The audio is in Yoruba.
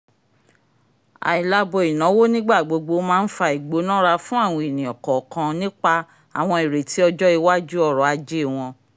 ailabo ìnáwó n'igbagbogbo má n fà ìgbónarà fún àwọn ènìyàn kọọkan nípa àwọn ireti ọjọ iwájú ọrọ-ajé wọn